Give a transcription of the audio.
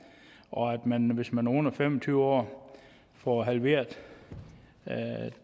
og at man hvis man er under fem og tyve år får halveret